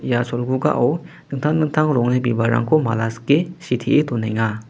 ia cholgugao dingtang dingtang rongni bibalrangko mala sike sitee donenga.